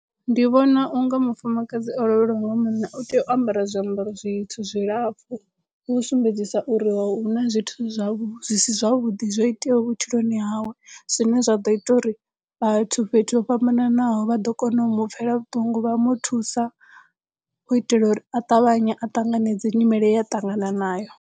Ndi vhona unga mufumakadzi o lovheliwa nga munna u tea u ambara zwiambaro zwitsu zwilapfhu u sumbedzisa uri huna zwithu zwau zwi si zwavhuḓi zwo iteaho vhutshiloni hawe zwine zwa ḓo ita uri vhathu fhethu ho fhambananaho vha ḓo kona u mu pfhela vhuṱungu vha mu thusa u itela uri a ṱavhanya a ṱanganedze nyimele yea ṱangana nayo.